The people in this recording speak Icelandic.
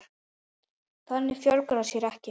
Þannig fjölgar það sér ekki.